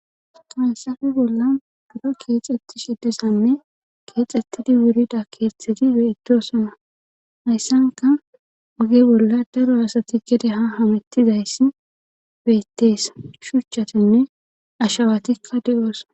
fansafi bolla bura keexetti seddisanne keexettidi wurida keeththedi beetosana hayssanka oge bolla daro asati gede ha hamettizayssi bettees shuchchatinne ashawatikka de7oosa